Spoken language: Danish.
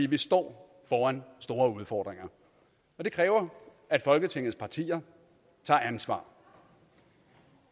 vi står foran store udfordringer det kræver at folketingets partier tager ansvar